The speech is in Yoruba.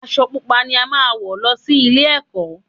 Aṣọ Pupa ni a máa wọ̀ lọ sí ilé-ẹ̀kọ́